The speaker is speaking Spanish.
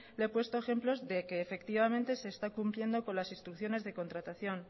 le he puesto ejemplos de que efectivamente se está cumpliendo con las instrucciones de contratación